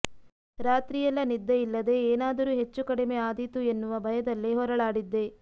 ರಾತ್ರಿಯೆಲ್ಲ ನಿದ್ದೆಯಿಲ್ಲದೇ ಏನಾದರೂ ಹೆಚ್ಚು ಕಡಿಮೆ ಆದೀತು ಎನ್ನುವ ಭಯದಲ್ಲೇ ಹೊರಳಾಡಿದ್ದೆ